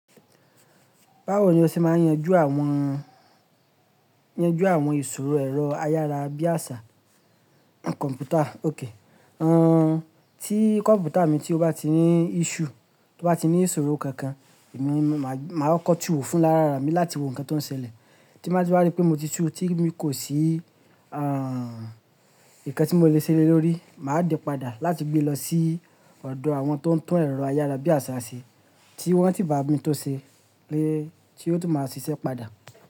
Báwo ni o ṣe máa ń yanjú àwọn, yanjú àwọn ìṣòro ẹ̀rọ ayára bí àṣá kọ̀mpútà? Óké. Àn, tí kọ̀mpútà mi tí ó bá ti ní issue, tí ó bá ti ní ìṣòro kankan, èmi máa kọ túù wo fúnra lára mi láti wo nǹkan tó ń ṣẹlẹ̀. Tí n ba ti wa rí pé mo ti túù tí mi kò sí, àn, ǹkan tí mo le ṣe lórí, màá dẹ́ padà láti gbé lọ sí ọ̀dọ̀ àwọn tó ń tún ẹ̀rọ ayára bí àṣá ṣe. Tí wọ́n sì bámi tunṣe, lé, tí ó sì máa ṣiṣẹ́ padà.